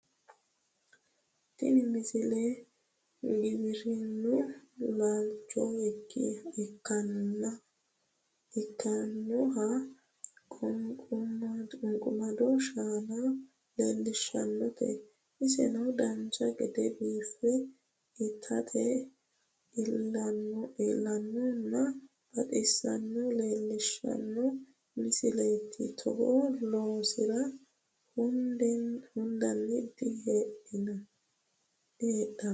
tini misile giwirinnu laalcho ikkinoha qunqumado shaana leellishshannote isino dancha gede biife itate iillinohanna baxisannoha leellishshano misileeti togo loonsiro hudeno diheedhanno